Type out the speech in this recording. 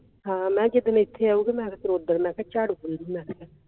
ਹਾਂ ਮੈਂ ਕਿਹਾ ਜਿਦਣ ਐਥੇ ਆਊਗੀ ਫੇਰ ਓਦਣ ਝਾੜੂੰ ਪੂੰਜੁ ਮੈਂ ਕਿਹਾ